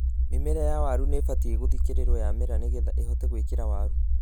Mĩmera ya waru nĩĩbatiĩ gũthĩkĩrĩrwo yamera nĩgetha ĩhote gwĩkĩra waru.